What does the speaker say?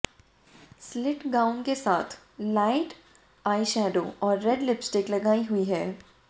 slit gown के साथ light eyeshadow और रेड लिपस्टिक लगाई हुई है